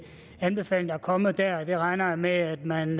anbefalinger der er kommet dér og det regner jeg med at man